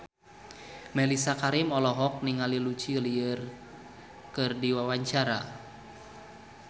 Mellisa Karim olohok ningali Lucy Liu keur diwawancara